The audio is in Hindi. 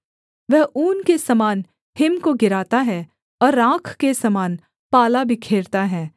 वह ऊन के समान हिम को गिराता है और राख के समान पाला बिखेरता है